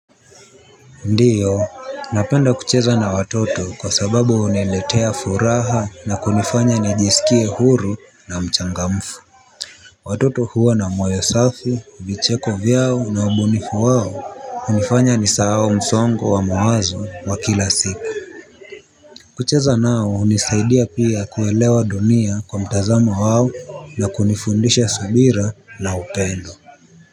Ndiyo, napenda kucheza na watoto kwa sababu huniletea furaha na kunifanya nijisikie huru na mchangamfu. Watoto huwa na mwoyo safi, vicheko vyao na ubunifu wao, hunifanya ni sawao msongo wa mawazo wa kila siku. Kucheza nao hunisaidia pia kuelewa dunia kwa mtazamo wao na kunifundisha subira na upendo.